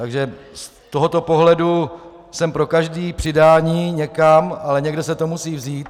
Takže z tohoto pohledu jsem pro každé přidání někam, ale někde se to musí vzít.